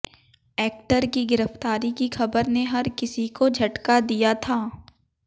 actor की गिरफ्तारी की खबर ने हर किसी को झटका दिया था